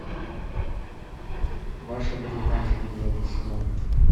ваша бриташа девятый сезон